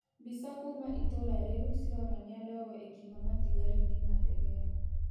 Mbĩca kũma ĩtũra rĩu cĩronanĩa ndogo ĩkĩuma matĩgarĩnĩ ma ndege ĩyo